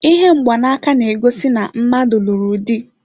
Ihe mgbanaka na-egosi na mmadụ lụrụ dị.